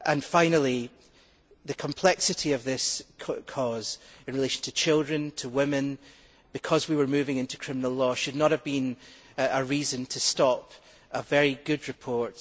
Finally, the complexity of this cause in relation to children and women because we were moving into criminal law should not have been a reason to stop a very good report.